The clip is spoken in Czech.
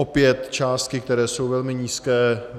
Opět částky, které jsou velmi nízké.